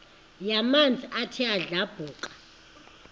yamanzi ethe yadlabhuka